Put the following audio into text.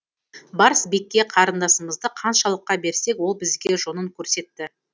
барс бекке қарындасымызды ханшалыққа берсек ол бізге жонын көрсетті